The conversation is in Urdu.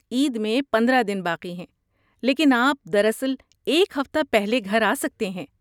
عید میں پندرہ دن باقی ہیں لیکن آپ در اصل ایک ہفتہ پہلے گھر آ سکتے ہیں